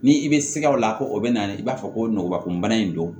Ni i bɛ siga o la ko o bɛ na i b'a fɔ ko nɔgɔba kunbana in don